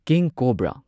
king cobra